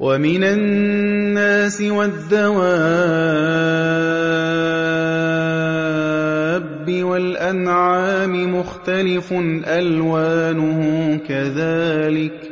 وَمِنَ النَّاسِ وَالدَّوَابِّ وَالْأَنْعَامِ مُخْتَلِفٌ أَلْوَانُهُ كَذَٰلِكَ ۗ